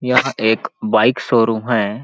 यहाँ एक bike showroom है।